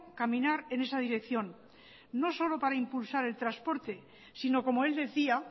caminar en esa dirección no solo para impulsar el transporte sino como él decía